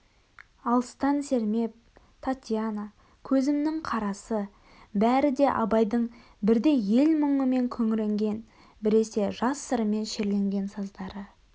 алыстан сермеп татьяна көзімнің қарасы бәрі де абайдың бірде ел мұнымен күңіренген біресе жас сырымен шерленген саздары